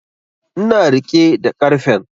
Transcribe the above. Ina riƙe da karfen